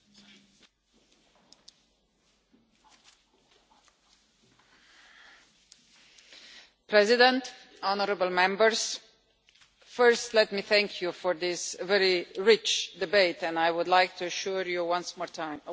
Mr President, honourable Members, first let me thank you for this very rich debate and I would like to assure you once more that the Commission will be in close contact with all national authorities